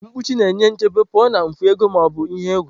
mkpuchi na-enye nchebe pụọ na mfu ego ma ọ bụ ihe egwu.